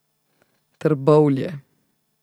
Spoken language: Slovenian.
Trbovlje.